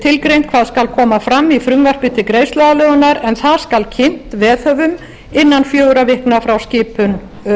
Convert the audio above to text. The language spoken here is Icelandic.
tilgreint hvað skal koma fram í frumvarpi til greiðsluaðlögunar en það skal kynnt veðhöfum innan fjögurra vikna frá skipun